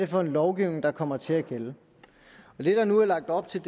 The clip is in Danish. for en lovgivning der kommer til at gælde det der nu er lagt op til